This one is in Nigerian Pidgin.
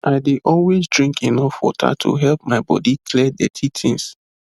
i dey always drink enough water to help my body clear dirty things